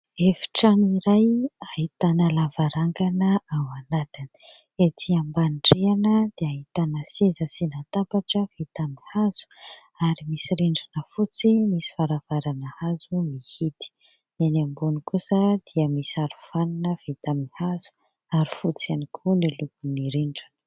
Efitrano iray : ahitana lavarangana ao anatiny, ety ambanin-drihana dia ahitana seza sy latabatra vita amin'ny hazo ary misy rindrina fotsy, misy varavarana hazo mihidy, eny ambony kosa dia misy arofanina vita amin'ny hazo ary fotsy ihany koa ny lokon'ny rindrina.